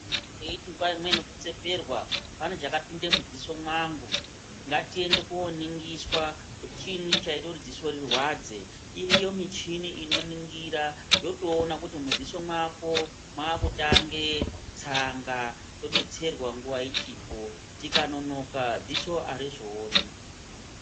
Taiti nguva imweni kutseperwa pane chakapinde mudziso mwangu. Ngatiende kooningiswa kuti chiinyi chaite kuti dziso rirwadze. Iriyo michini inoningira yotoona kuti mudziso mwako mwakutange tsanga todetserwa nguwa ichipo, tikanonoka dziso harizooni.